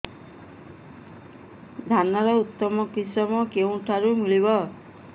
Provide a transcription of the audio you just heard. ଧାନର ଉତ୍ତମ କିଶମ କେଉଁଠାରୁ ମିଳିବ